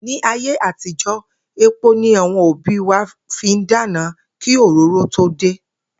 Ní ayé àtijó̩, epo ni àwo̩n òbí wa fi ń dáná kí òróró tó dé